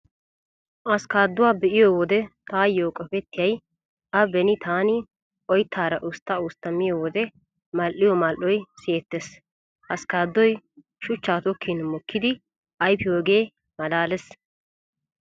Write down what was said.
Askkaaduwaa be'iyo wode taayyo qopettiyay a beni taani oyttaara ustta ustta miyo wode mal"iyo mal"oy siyettees. Askkaaddoy shuchchaa tokkin mokkidi ayfiyyoogee malaalees.